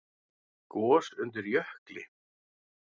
Gos undir jökli